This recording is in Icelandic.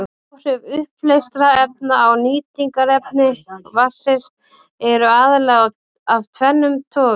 Áhrif uppleystra efna á nýtingarhæfni vatnsins eru aðallega af tvennum toga.